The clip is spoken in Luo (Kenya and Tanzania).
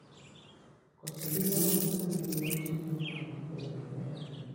Koso gigo makedone liet mio tong okbed maber